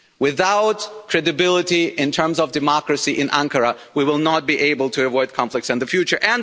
Without credibility in terms of democracy in Ankara, we will not be able to avoid conflicts in the future.